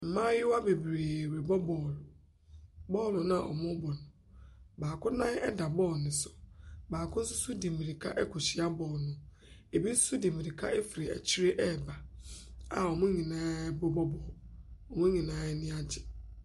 Mmaayewa bebree rebɔ bɔɔlo. Bɔɔlo no a wɔrebɔ no, baako nan da bɔɔlo no so. Baakonso de mmirika rekɔhyia bɔɔlo no. Ɛbi nso di mmirika firi akyire reba a wɔn nyinaa Wɔn nyinaa ani agye.